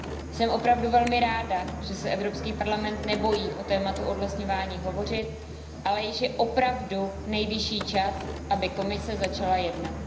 Jsem opravdu velmi ráda, že se Evropský parlament nebojí o tématu odlesňování hovořit, ale již je opravdu nejvyšší čas, aby Komise začala jednat.